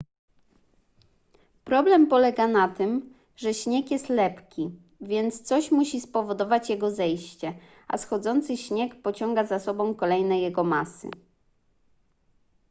problem polega na tym że śnieg jest lepki więc coś musi spowodować jego zejście a schodzący śnieg pociąga za sobą kolejne jego masy